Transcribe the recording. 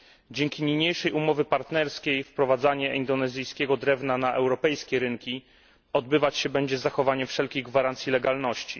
Dzięki tej umowie partnerskiej, wprowadzanie indonezyjskiego drewna na europejskie rynki będzie się odbywać z zachowaniem wszelkich gwarancji legalności.